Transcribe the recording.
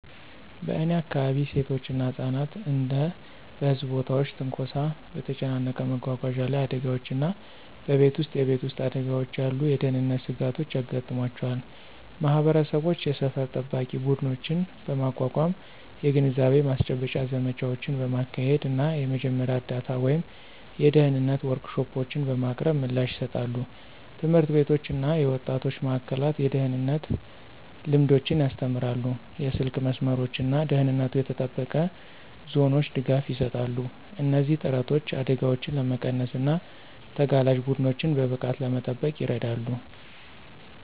በእኔ አካባቢ፣ ሴቶች እና ህጻናት እንደ በህዝብ ቦታዎች ትንኮሳ፣ በተጨናነቀ መጓጓዣ ላይ አደጋዎች እና በቤት ውስጥ የቤት ውስጥ አደጋዎች ያሉ የደህንነት ስጋቶች ያጋጥሟቸዋል። ማህበረሰቦች የሰፈር ጠባቂ ቡድኖችን በማቋቋም፣ የግንዛቤ ማስጨበጫ ዘመቻዎችን በማካሄድ እና የመጀመሪያ እርዳታ ወይም የደህንነት ወርክሾፖችን በማቅረብ ምላሽ ይሰጣሉ። ትምህርት ቤቶች እና የወጣቶች ማእከላት የደህንነት ልምዶችን ያስተምራሉ, የስልክ መስመሮች እና ደህንነቱ የተጠበቀ ዞኖች ድጋፍ ይሰጣሉ. እነዚህ ጥረቶች አደጋዎችን ለመቀነስ እና ተጋላጭ ቡድኖችን በብቃት ለመጠበቅ ይረዳሉ።